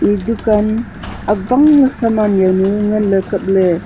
e dukan awangley saman jawnu nganley kapley.